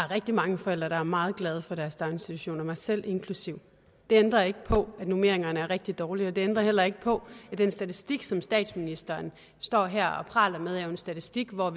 rigtig mange forældre der er meget glade for deres børns daginstitutioner mig selv inklusive det ændrer ikke på at normeringerne er rigtig dårlige og det ændrer heller ikke på at den statistik som statsministeren står her og praler med jo er en statistik hvor